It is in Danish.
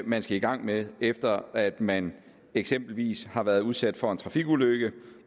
man skal i gang med efter at man eksempelvis har været udsat for en trafikulykke